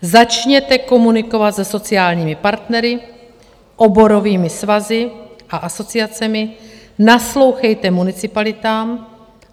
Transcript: Začněte komunikovat se sociálními partnery, oborovými svazy a asociacemi, naslouchejte municipalitám.